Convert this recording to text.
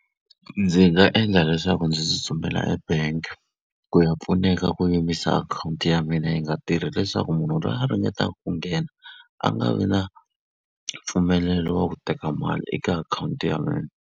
ndzi nga endla leswaku ndzi tsutsumela e-bank ku ya pfuneka ku yimisa akhawunti ya mina yi nga tirhi leswaku munhu loyi a ringetaka ku nghena, a nga vi na mpfumelelo wa ku teka mali eka akhawunti ya mina.